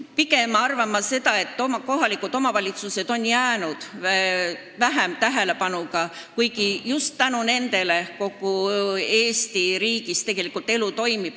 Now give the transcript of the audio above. Pigem ma arvan, et kohalikud omavalitsused on seni pidanud leppima vähema tähelepanuga, kuigi just tänu nendele kogu Eesti riigis elu toimib.